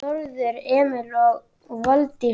Þórður Emil og Valdís Þóra.